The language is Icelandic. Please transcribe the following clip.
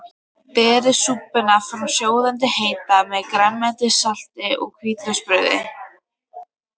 Berið súpuna fram sjóðandi heita með grænmetissalati og hvítlauksbrauði.